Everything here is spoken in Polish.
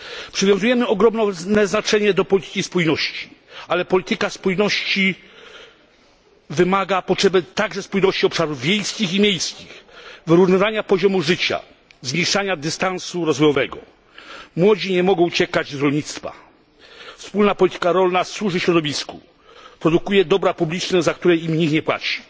Przywiązujemy ogromne znaczenie do polityki spójności, ale wymaga ona także spójności obszarów wiejskich i miejskich, wyrównywania poziomu życia, zmniejszania dystansu rozwojowego. Młodzi nie mogą uciekać od rolnictwa. Wspólna polityka rolna służy środowisku, produkuje dobra publiczne, za które nikt rolnikom nie płaci.